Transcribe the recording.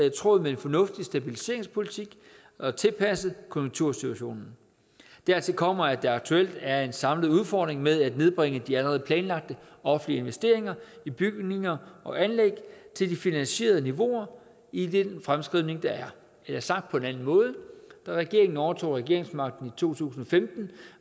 i tråd med en fornuftig stabiliseringspolitik og tilpasset konjunktursituation dertil kommer at der aktuelt er en samlet udfordring med at nedbringe de allerede planlagte offentlige investeringer i bygninger og anlæg til de finansierede niveauer i den fremskrivning der er eller sagt på en anden måde da regeringen overtog regeringsmagten i to tusind og femten